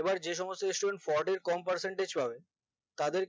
এবার যে সমস্ত studentfourty কম percentage পাবে তাদের